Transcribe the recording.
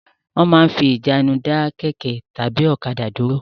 Wọ́n máa ń fi ìjánu dá kẹ̀kẹ́ tàbí ọ̀kadà dúró.